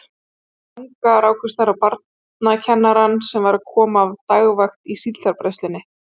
Fyrir utan Tanga rákust þær á barnakennarann sem var að koma af dagvakt í Síldarbræðslunni.